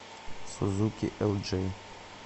сузуки элджей